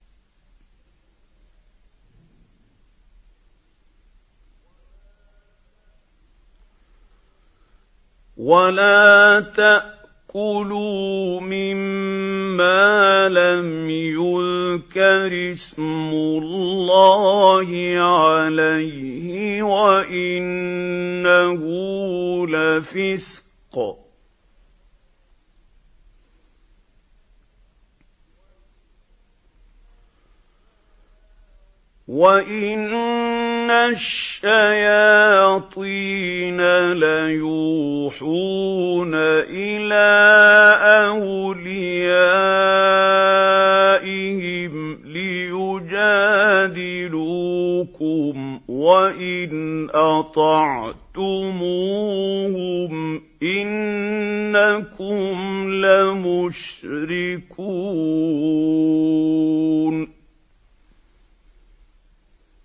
وَلَا تَأْكُلُوا مِمَّا لَمْ يُذْكَرِ اسْمُ اللَّهِ عَلَيْهِ وَإِنَّهُ لَفِسْقٌ ۗ وَإِنَّ الشَّيَاطِينَ لَيُوحُونَ إِلَىٰ أَوْلِيَائِهِمْ لِيُجَادِلُوكُمْ ۖ وَإِنْ أَطَعْتُمُوهُمْ إِنَّكُمْ لَمُشْرِكُونَ